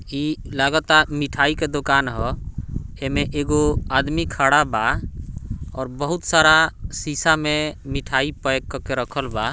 ई लागता मिठाई के दुकान ह हेमे एगो आदमी खड़ा बा और बहुत सारा शीशा में मिठाई पैक क के रखल बा।